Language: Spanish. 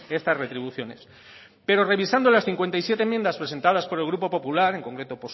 estas retribuciones pero revisando las cincuenta y siete enmiendas presentadas por el grupo popular en concreto